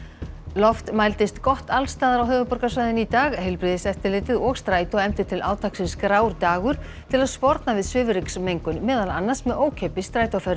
loft mældist gott alls staðar á höfuðborgarsvæðinu í dag heilbrigðiseftirlitið og Strætó efndu til átaksins grár dagur til að sporna við svifryksmengun meðal annars með ókeypis